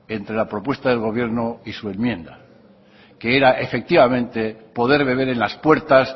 entre la propuesta del gobierno y su enmienda que era efectivamente poder beber en las puertas